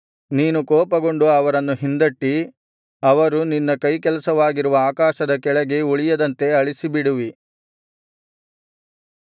ನೀನು ಕೋಪಗೊಂಡು ಅವರನ್ನು ಹಿಂದಟ್ಟಿ ಅವರು ನಿನ್ನ ಕೈಕೆಲಸವಾಗಿರುವ ಆಕಾಶದ ಕೆಳಗೆ ಉಳಿಯದಂತೆ ಅಳಿಸಿಬಿಡುವಿ